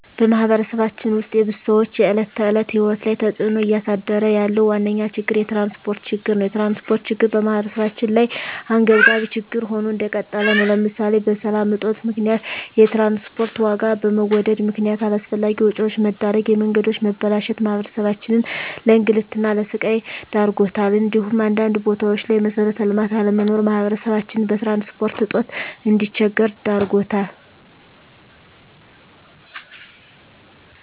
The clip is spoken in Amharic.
በማህበረሰባችን ውስጥ የብዙ ሰዎች የዕለት ተዕለት ህይወት ላይ ተፅእኖ እያሳደረ ያለው ዋነኛ ችግር የትራንስፖርት ችግር ነው። የትራንስፖርት ችግር በማህበረሰባችን ላይ አንገብጋቢ ችግር ሆኖ እንደቀጠለ ነው ለምሳሌ በሰላም እጦት ምክንያት የትራንስፖርት ዋጋ በመወደድ ምክነያት አላስፈላጊ ወጪዎች መዳረግ፣ የመንገዶች መበላሸት ማህበረሰባችንን ለእንግልትና ለስቃይ ዳርጓታል እንዲሁም አንዳንድ ቦታዎች ላይ መሠረተ ልማት አለመኖር ማህበረሰባችን በትራንስፖርት እጦት እንዲቸገር ዳርጎታል።